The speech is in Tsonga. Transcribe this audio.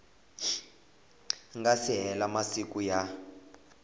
nga si hela masiku ya